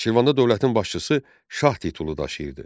Şirvanda dövlətin başçısı şah titulu daşıyırdı.